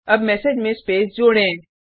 अब मेसेज में स्पेस जोड़ें